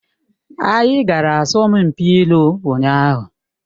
Anyị gara asọmpi ilu ụnyaahụ